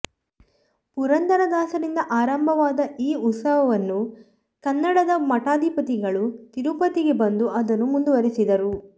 ಪುರಂದರದಾಸರಿಂದ ಆರಂಭವಾದ ಈ ಉತ್ಸವವನ್ನು ಕನ್ನಡದ ಮಠಾಧಿಪತಿಗಳು ತಿರುಪತಿಗೆ ಬಂದು ಅದನ್ನು ಮುಂದುವರಿಸಿದರು